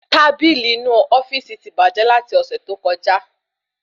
Tábìlì inu ofíìsì ti bàjẹ́ lati ọsẹ tó kọjá